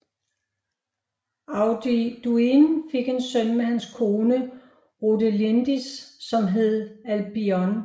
Auduin fik en søn med hans kone Rodelindis som hed Alboin